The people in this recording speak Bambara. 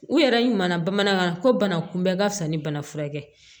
U yɛrɛ ma na bamanankan na ko bana kunbɛ ka fisa ni bana furakɛ ye